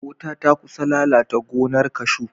Wuta ta kusa lalata gonar kashu.